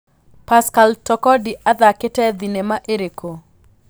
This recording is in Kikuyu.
pascal Tokodi athakĩte thĩnema ĩrĩkũ